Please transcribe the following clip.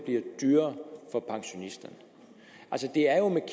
synes